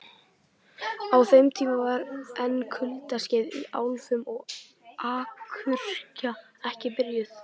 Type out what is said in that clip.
Á þeim tíma var enn kuldaskeið í álfunni og akuryrkja ekki byrjuð.